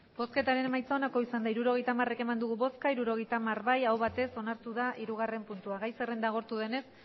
hirurogeita hamar eman dugu bozka hirurogeita hamar bai aho batez onartu da hirugarren puntua gai zerrenda agortu denez